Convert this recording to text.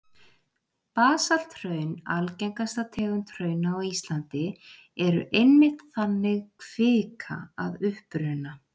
Basalthraun, algengasta tegund hrauna á Íslandi, eru einmitt þannig kvika að uppruna.